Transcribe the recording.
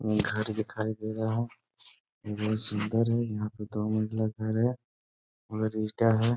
ये घर दिखाई दे रहा है। ये बहुत सुन्दर है। यहाँ पे दो मंजिला घर है और है।